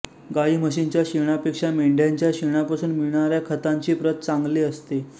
गाईम्हशींच्या शेणापेक्षा मेंढ्यांच्या शेणापासून मिळणाऱ्या खतांची प्रत चांगली असते